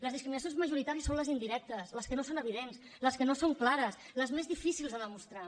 les discriminacions majoritàries són les indirectes les que no són evidents les que no són clares les més difícils de demostrar